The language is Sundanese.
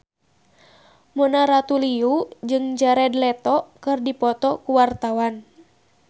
Mona Ratuliu jeung Jared Leto keur dipoto ku wartawan